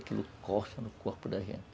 Aquilo coça no corpo da gente.